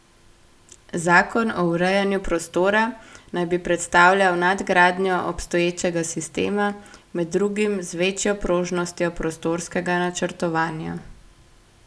Zakon o urejanju prostora naj bi predstavljal nadgradnjo obstoječega sistema, med drugim z večjo prožnostjo prostorskega načrtovanja.